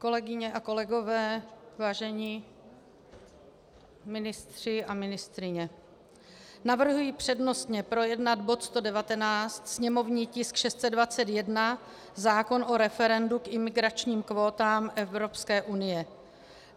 Kolegyně a kolegové, vážení ministři a ministryně, navrhuji přednostně projednat bod 119, sněmovní tisk 621, zákon o referendu k imigračním kvótám Evropské unie.